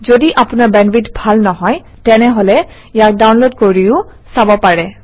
যদি আপোনাৰ বেণ্ডৱিডথ ভাল নহয় তেনেহলে ইয়াক ডাউনলোড কৰি চাব পাৰে